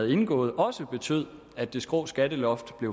indgået også betyder at det skrå skatteloft